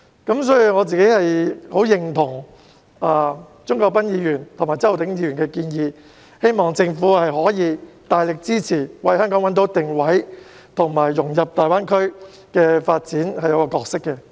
因此，我十分認同鍾國斌議員及周浩鼎議員的建議，希望政府可以大力支持，為香港找到定位及在大灣區發展中的角色。